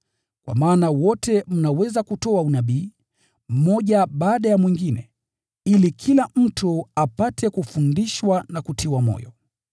Kwa maana wote mnaweza kutoa unabii, mmoja baada ya mwingine, ili kila mtu apate kufundishwa na kutiwa moyo.